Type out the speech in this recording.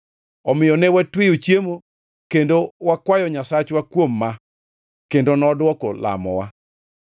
Omiyo ne watweyo chiemo kendo wakwayo Nyasachwa kuom ma, kendo nodwoko lamowa.